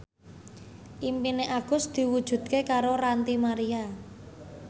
impine Agus diwujudke karo Ranty Maria